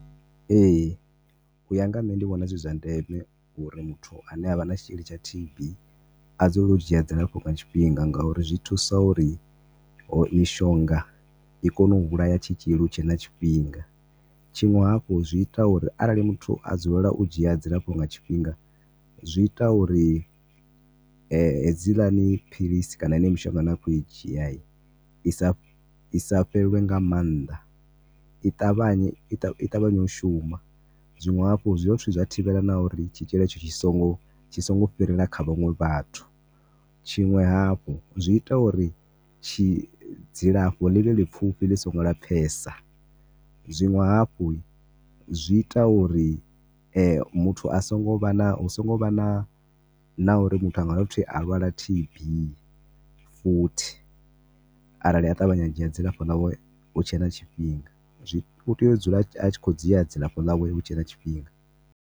Ee, u ya nga nṋe ndi vhona zwi zwa ndeme uri muthu ane a vha na tshitzhili tsha T_B a dzulele u dzhia dzilafho nga tshifhinga ngauri zwi thusa uri mishonga i kone u vhulaya tshitzhili hu tshe na tshifhinga. Tshiṅwe hafhu zwi ita uri arali muthu a dzulela u dzhia dzilafho tshifhinga zwi ita uri hedziḽani philisi kana yeneyo mishonga ine a khou i dzhia i sa, i sa fhelelwi nga maanḓa i ṱavhanye, i ṱavhanye u shuma. Zwiṅwe hafhu, zwi dovha futhi zwa thivhela na uri tshitzhili hetsho tshi songo, tshi songo fhirela kha vhaṅwe vhathu. Tshiṅwe hafhu, zwi ita uri tshi, dzilafho ḽi vhe ḽipfhufhi ḽi songo lapfhesa. Zwiṅwe hafhu, zwi ita uri muthu a songo vha na, hu songo vha na, na uri muthu a nga dovha futhi a lwala T_B futhi arali a ṱavhanya a dzhia dzilafho ḽawe hu tshe na tshifhinga. Zwi, u tea u dzula a tshi khou dzhi dzilafho ḽawe hu tshe na tshifhinga.